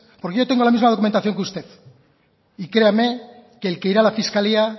porque yo tengo la misma documentación que usted y créame que el que irá a la fiscalía